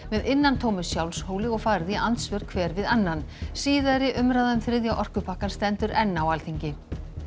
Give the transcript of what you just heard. með innantómu sjálfshóli og farið í andsvör hver við annan síðari umræða um þriðja orkupakkann stendur enn á Alþingi